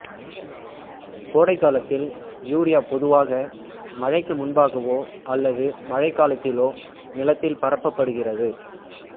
கோடைகாலத்தில் யூரியா பொதுவாக மழைக்கு முன்பாகவோ அல்லது மழைக்காலத்திலோ நிலத்தில் பரப்பப்படுகிறது